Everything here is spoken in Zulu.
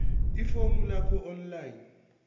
ifomu lakho online